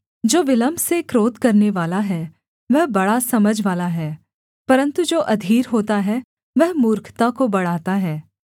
जो विलम्ब से क्रोध करनेवाला है वह बड़ा समझवाला है परन्तु जो अधीर होता है वह मूर्खता को बढ़ाता है